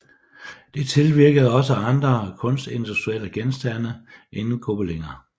Det tilvirkede også andre kunstindustrielle genstande end gobeliner